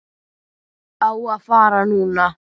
Á að fara núna.